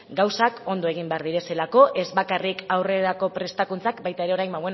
gauzak ondo egin behar direlako ez bakarrik aurrerako prestakuntzak baita ere orain